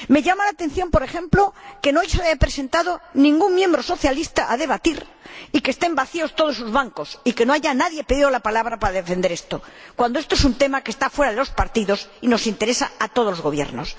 Me llama la atención, por ejemplo, que no se haya presentado ningún miembro socialista al debate y que estén vacíos todos sus bancos, y que no haya pedido nadie la palabra para defender esto, cuando esto es un tema que está fuera de los partidos y nos interesa a todos los gobiernos.